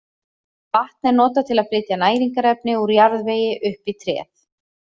Vatn er notað til að flytja næringarefni úr jarðvegi upp í tréð.